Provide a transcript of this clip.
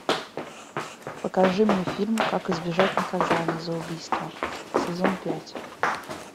покажи мне фильм как избежать наказания за убийство сезон пять